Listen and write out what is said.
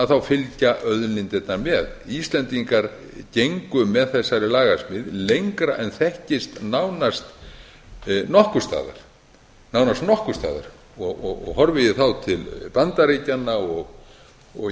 þá fylgja auðlindirnar með íslendingar gengu með þessari lagasmíð lengra en þekkist nánast nokkurs staðar og horfi ég þá til bandaríkjanna og ég